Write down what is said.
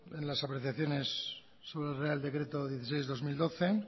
en las apreciaciones sobre el real decreto dieciséis barra dos mil doce